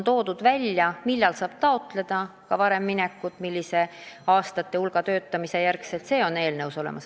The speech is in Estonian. On välja toodud, millal saab taotleda varem pensionile minekut, kui mitme aasta töötamise järel – see on eelnõus olemas.